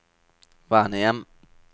vernehjem